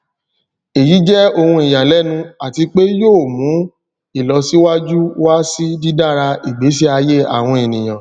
èyí jẹ ohun ìyanilénu àti pé yóò mu ìlọsíwájú wa si dídára ìgbésí aye àwọn ènìyàn